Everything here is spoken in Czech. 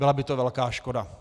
Byla by to velká škoda.